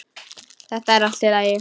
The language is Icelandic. Þetta er allt í lagi.